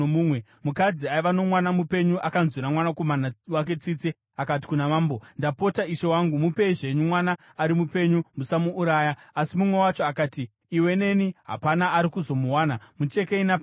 Mukadzi aiva nomwana mupenyu akanzwira mwanakomana wake tsitsi akati kuna mambo, “Ndapota ishe wangu, mupei zvenyu mwana ari mupenyu! Musamuuraya!” Asi mumwe wacho akati, “Iwe neni hapana ari kuzomuwana. Muchekei napakati!”